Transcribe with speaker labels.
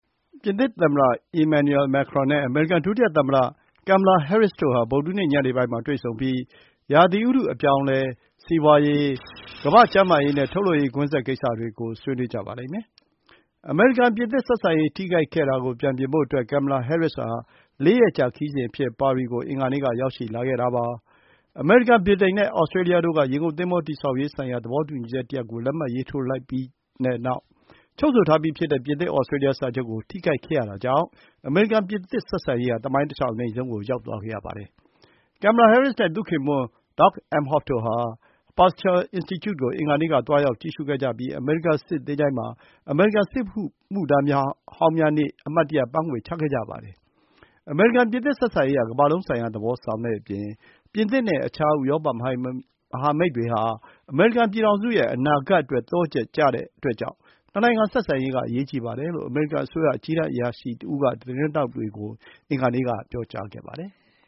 Speaker 1: ပြင်သစ်သမ္မတ Emmanuel Macron နဲ့ အမေရိကန် ဒုတိယသမ္မတ Kamala Harris တို့ဟာ ဗုဒ္ဓဟူးနေ့ ညနေပိုင်းမှာ တွေ့ဆုံပြီး ရာသီဥတု အပြောင်းအလဲ၊ စီးပွားရေး၊ ကမ္ဘာ့ကျန်းမာရေးနဲ့ ထုတ်လုပ်ရေးကွင်းဆက် ကိစ္စတွေကို ဆွေးနွေးကြပါလိမ့်မယ်။ အမေရိကန်-ပြင်သစ် ဆက်ဆံရေး ထိခိုက်ခဲ့တာကို ပြန်ပြင်ဖို့အတွက် Kamala Harris ဟာ ၄ ရက်ကြာ ခရီးစဉ်အဖြစ် ပါရီကို အင်္ဂါနေ့က ရောက်ရှိလာခဲ့တာပါ။ အမေရိကန်၊ ဗြိတိန်နဲ့ သြစတြေးလျတို့က ရေငုပ်သင်္ဘော တည်ဆောက်ရေးဆိုင်ရာ သဘောတူညီချက်တရပ်ကို လက်မှတ်ရေးထိုးလိုက်ကြပြီးတဲ့နောက် ချုပ်ဆိုထားပြီး ဖြစ်တဲ့ ပြင်သစ်-သြစတြေးလျ စာချုပ်ကို ထိခိုက်ခဲ့ရတာကြောင့် အမေရိကန်-ပြင်သစ် ဆက်ဆံရေးဟာ သမိုင်းတလျှောက် အနိမ့်ဆုံးကို ရောက်သွားခဲ့ရပါတယ်။ Kamala Harris နဲ့ သူ့ခင်ပွန်း Doug Emhoff တို့ဟာ Pasteur Institute ကို အင်္ဂါနေ့က သွားရောက်ကြည့်ရှုခဲ့ကြပြီး အမေရိကန် စစ်သင်္ချိုင်းမှာ အမေရိကန် စစ်မှုထမ်းဟောင်းများနေ့ အမှတ်တရပန်းခွေ ချခဲ့ကြပါတယ်။ အမေရိကန်-ပြင်သစ် ဆက်ဆံရေးဟာ ကမ္ဘာလုံးဆိုင်ရာသဘော ဆောင်တဲ့အပြင် ပြင်သစ်နဲ့ အခြား ဥရောပမဟာမိတ်များဟာ အမေရိကန်ပြည်ထောင်စုရဲ့ အနာဂတ်အတွက် သော့ချက်ကျတဲ့အတွက်ကြောင့် နှစ်နိုင်ငံဆက်ဆံရေးက အရေးကြီးပါတယ်လို့ အမေရိကန်အစိုးရ အကြီးတန်းအရာရှိတဦးက သတင်းထောက်တွေကို အင်္ဂါနေ့က ပြောကြားခဲ့ပါတယ်။